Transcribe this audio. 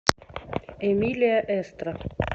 эмилия эстра